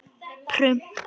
Í alvöru.